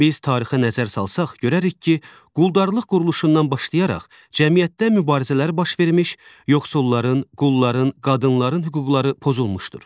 Biz tarixə nəzər salsaq görərik ki, quldarlıq quruluşundan başlayaraq cəmiyyətdə mübarizələr baş vermiş, yoxsulların, qulların, qadınların hüquqları pozulmuşdur.